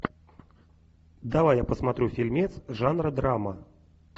давай я посмотрю фильмец жанра драма